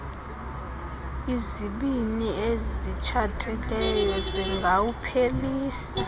izibini ezitshatileyo zingawuphelisa